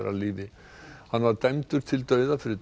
af lífi hann var dæmdur til dauða fyrir